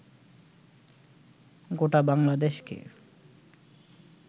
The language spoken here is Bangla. গোটা বাংলাদেশকে